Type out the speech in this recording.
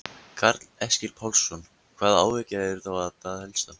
Karl Eskil Pálsson: Hvaða áhyggjur eru þá það helstar?